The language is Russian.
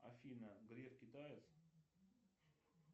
афина греф китаец